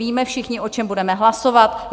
Víme všichni, o čem budeme hlasovat?